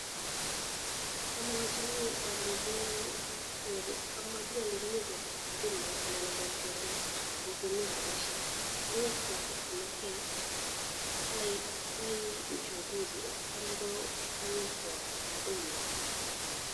Amwachini alechini kopet kadit nyun anan kokichorena akokomi rapishek kong'et kab customer care, koai uchunguzi atyam kowekwa kadit nyu.